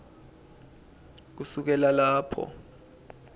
kusukela lapho